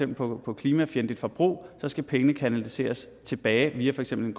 på på klimafjendtligt forbrug skal pengene kanaliseres tilbage via for eksempel